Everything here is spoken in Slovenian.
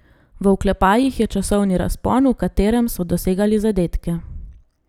V oklepajih je časovni razpon, v katerem so dosegali zadetke.